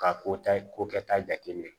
Ka ko ta ko kɛta jate minɛ